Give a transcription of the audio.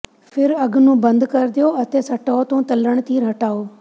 ਫਿਰ ਅੱਗ ਨੂੰ ਬੰਦ ਕਰ ਦਿਓ ਅਤੇ ਸਟੋਵ ਤੋਂ ਤਲ਼ਣ ਤੀਰ ਹਟਾਓ